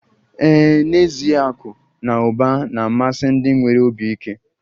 Ee, n'ezie akụ na ụba na-amasị ndị nwere obi ike